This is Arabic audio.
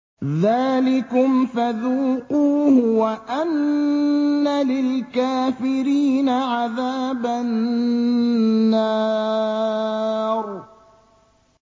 ذَٰلِكُمْ فَذُوقُوهُ وَأَنَّ لِلْكَافِرِينَ عَذَابَ النَّارِ